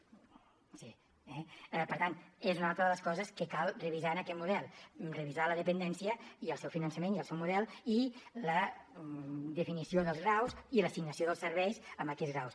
sí eh per tant és una altra de les coses que cal revisar en aquest model revisar la dependència i el seu finançament i el seu model i la definició dels graus i l’assignació dels serveis a aquells graus